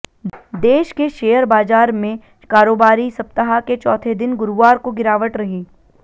देश के शेयर बाजार में कारोबारी सप्ताह के चौथे दिन गुरुवार को गिरावट रही